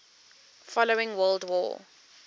following world war